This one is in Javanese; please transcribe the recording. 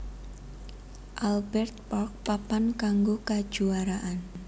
Albert Park papan kanggo kajuaraan